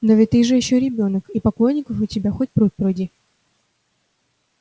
но ведь ты же ещё ребёнок и поклонников у тебя хоть пруд пруди